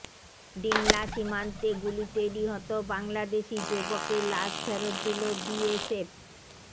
ডিমলা সীমান্তে গুলিতে নিহত বাংলাদেশি যুবকের লাশ ফেরত দিল বিএসএফ